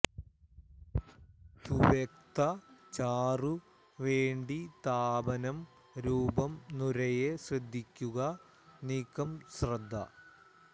സുവ്യക്ത ചാറു വേണ്ടി താപനം രൂപം നുരയെ ശ്രദ്ധിക്കുക നീക്കം ശ്രദ്ധ